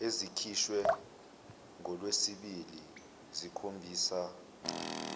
ezikhishwe ngolwesibili zikhombisa